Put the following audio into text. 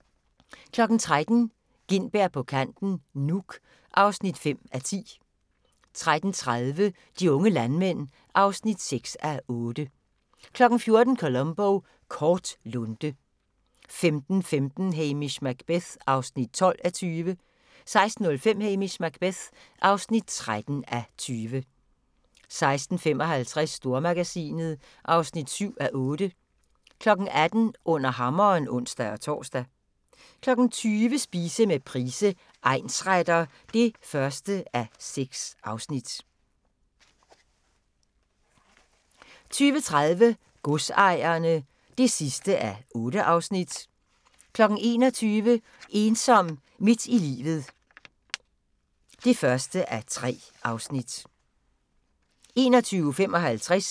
13:00: Gintberg på kanten - Nuuk (5:10) 13:30: De unge landmænd (6:8) 14:00: Columbo: Kort lunte 15:15: Hamish Macbeth (12:20) 16:05: Hamish Macbeth (13:20) 16:55: Stormagasinet (7:8) 18:00: Under hammeren (ons-tor) 20:00: Spise med Price, egnsretter (1:6) 20:30: Godsejerne (8:8) 21:00: Ensom midt i livet (1:3)